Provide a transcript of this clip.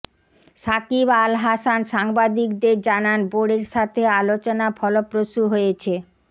সাকিব আল হাসান সাংবাদিকদের জানান বোর্ডের সাথে আলোচনা ফলপ্রসূ হয়েছে